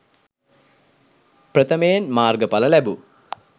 ප්‍රථමයෙන් මාර්ග ඵල ලැබූ